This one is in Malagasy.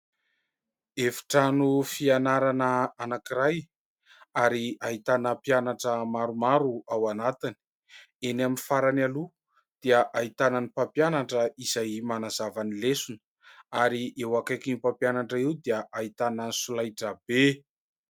Efitrano fianarana anankiray ary ahitana mpianatra maromaro ao anatiny, eny amin'ny farany aloha dia ahitana ny mpampianatra izay manazava ny lesona ary eo akaiky ny mpampianatra eo dia ahitana ny solaitra be.